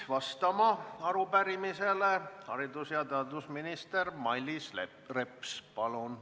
Palun arupärimisele vastama haridus- ja teadusminister Mailis Repsi!